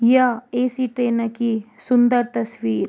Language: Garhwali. या ए.सी. ट्रेन की सुन्दर तस्वीर।